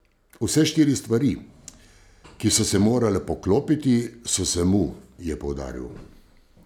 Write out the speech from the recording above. Vse štiri stvari, ki so se morale poklopiti, so se mu, je poudaril.